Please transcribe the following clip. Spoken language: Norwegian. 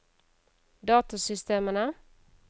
datasystemene